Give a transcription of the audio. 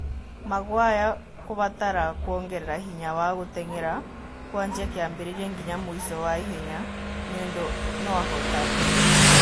"Maguire ngũbatara kuongerera hinya wa gũteng'era kũanjia kĩambĩrĩria nginya mũico wa ihenya, nĩũndũ no-hootane"